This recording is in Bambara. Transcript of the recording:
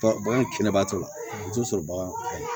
Bagan kɛnɛba tora i b'o sɔrɔ bagan